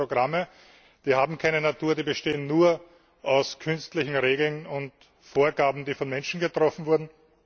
Computerprogramme, die haben keine Natur, die bestehen nur aus künstlichen Regeln und Vorgaben, die von Menschen getroffen wurden.